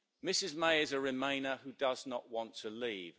Ms May is a remainer who does not want to leave.